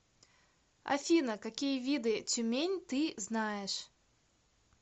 афина какие виды тюмень ты знаешь